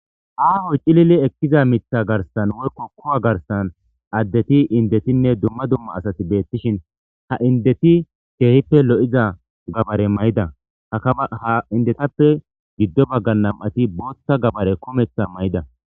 Aaho cilili ekiza miththa garssan woyko ku'a garssan addeti indetinne dumma dumma asati beetishin ha indeti keehippe lo'iza gabare mayida ha gabare ha indetappe giddo baggan nam'ati bootha gabare kumeththa mayida.